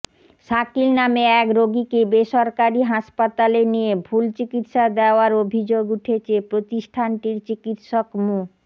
শাকিল নামে এক রোগীকে বেসরকারি হাসপাতালে নিয়ে ভুল চিকিৎসা দেওয়ার অভিযোগ উঠেছে প্রতিষ্ঠানটির চিকিৎসক মো